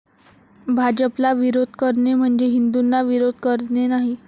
भाजपला विरोध करणे म्हणजे, हिंदूंना विरोध करणे नाही.